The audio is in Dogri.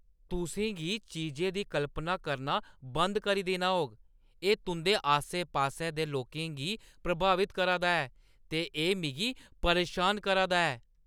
तुसें गी चीजें दी कल्पना करना बंद करी देना होग। एह् तुंʼदे आस्सै-पास्सै दे लोकें गी प्रभावत करा दा ऐ ते एह् मिगी परेशान करा दा ऐ।